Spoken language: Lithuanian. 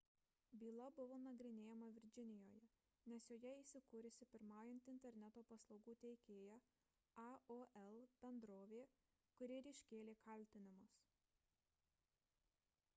byla buvo nagrinėjama virdžinijoje nes joje įsikūrusi pirmaujanti interneto paslaugų teikėja aol – bendrovė kuri ir iškėlė kaltinimus